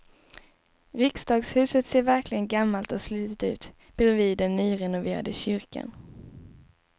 Riksdagshuset ser verkligen gammalt och slitet ut bredvid den nyrenoverade kyrkan.